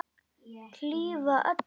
Hlífa öllum.